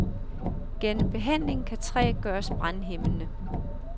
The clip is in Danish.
Gennem behandling kan træ gøres brandhæmmende.